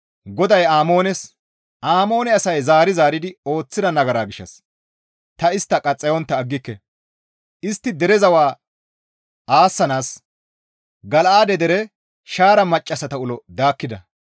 GODAY Amoones, «Amoone asay zaari zaaridi ooththida nagara gishshas ta istta qaxxayontta aggike; istti dere zawa aassanaas Gala7aade dere shaara maccassata ulo daakkida.